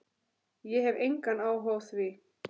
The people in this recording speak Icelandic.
Ég hef engan áhuga á því.